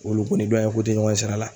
Wulu ko ni ko te ɲɔgɔn ɲɛ sira la.